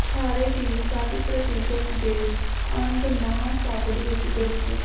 ਖਾਰੇ ਦੀ ਸਭ ਪ੍ਰਤੀਸ਼ਤ ਦੇ ਅੰਧ ਮਹਾਸਾਗਰ ਵਿਚ ਦਰਜ